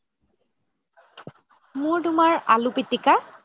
মোৰ তুমাৰ আলু পিতিকা